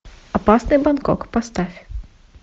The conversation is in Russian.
опасный бангкок поставь